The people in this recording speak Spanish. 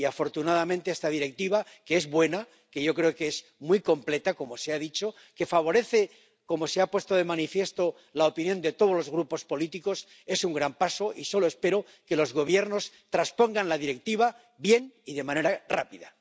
Y, afortunadamente, esta Directiva —que es buena, que yo creo que es muy completa, como se ha dicho, que favorece, como se ha puesto de manifiesto, la opinión de todos los grupos políticos— es un gran paso, y solo espero que los Gobiernos traspongan la Directiva bien y de manera rápida.